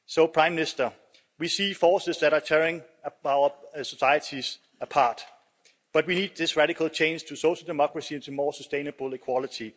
Prime Minister, we see forces that are tearing our societies apart, but we need this radical change to social democracy and to more sustainable equality.